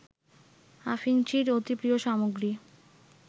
আফিংচির অতি প্রিয় সামগ্রী